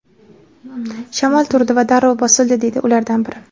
Shamol turdi va darrov bosildi”, deydi ulardan biri.